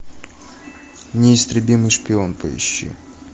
неистребимый шпион поищи